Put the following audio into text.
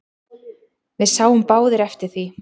Við sáum báðir eftir því.